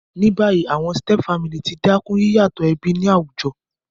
Ní bayí, àwon stepfamily ti dákún yíyàtò ẹbí ni àwùjo